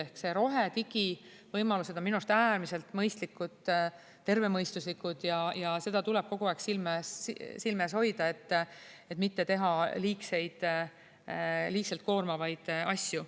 Ehk need rohedigi võimalused on minu arust äärmiselt mõistlikud, tervemõistuslikud ja neid tuleb kogu aeg silme ees hoida, et mitte teha liigseid, liiga koormavaid asju.